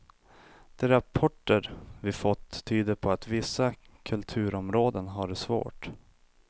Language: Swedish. De rapporter vi fått tyder på att vissa kulturområden har det svårt.